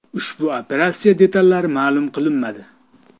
Ushbu operatsiya detallari ma’lum qilinmadi.